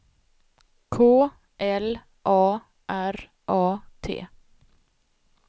K L A R A T